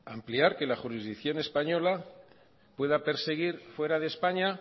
ampliar que la jurisdicción española pueda perseguir fuera de españa